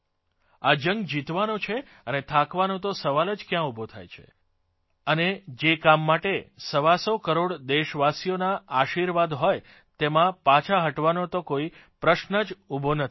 આ જંગ જીતવો છે અને થાકવાનો તો સવાલ જ કયાં ઉભો થાય છે અને જે કામ માટે સવાસો કરોડ દેશવાસીઓના આશીર્વાદ હોય તેમાં પાછા હટવાનો તો કોઇ પ્રશ્ન જ ઉભો નથી થતો